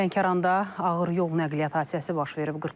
Lənkəranda ağır yol nəqliyyat hadisəsi baş verib.